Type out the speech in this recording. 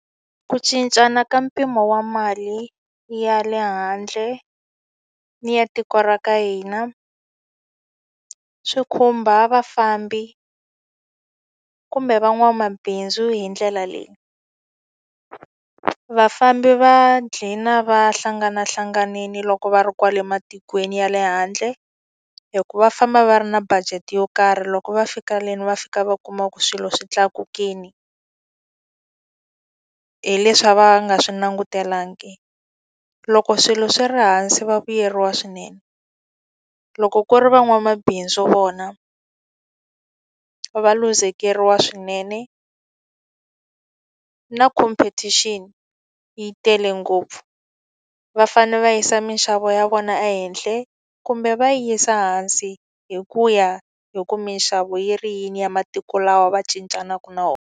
Ku cincana ka mpimo wa mali ya le handle ni ya tiko ra ka hina, swi khumba vafambi kumbe van'wamabindzu hi ndlela leyi. Vafambi va gcina va hlanganahlanganile loko va ri kwale matikweni ya le handle, hikuva va famba va ri na budget yo karhi loko va fika le va fika va kuma ku swilo swi tlakukile. Hi leswi a va nga swi langutelangi. Loko swilo swi ri hansi va vuyeriwa swinene. Loko ku ri van'wamabindzu vona va va luzekeriwa swinene. Na competition yi tele ngopfu, va fanele va yisa minxavo ya vona ehenhla kumbe va yisa hansi hi ku ya hi ku minxavo yi ri yini ya matiko lawa va cincaka na wona.